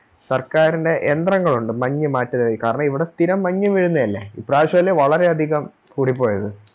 സർക്കാരിൻറെ യന്ത്രങ്ങളൊണ്ട് മഞ്ഞ് മാറ്റുന്നെ കാരണം ഇവിടെ സ്ഥിരം മഞ്ഞ് വീഴുന്നെയല്ലേ ഇപ്രാവശ്യല്ലേ വളരെയധികം കൂടിപ്പോയത്